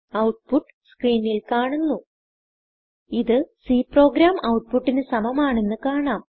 output സ്ക്രീനിൽ കാണുന്നു ഇത് C പ്രോഗ്രാം ഔട്ട്പുട്ടിന് സമമാണെന്ന് കാണാം